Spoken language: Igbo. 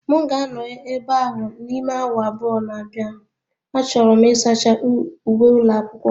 M ga-anọ ebe ahụ n'ime awa abụọ na-abịa, achọrọ m ịsacha uwe ụlọ akwụkwọ m